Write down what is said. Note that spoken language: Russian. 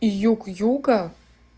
и юг юга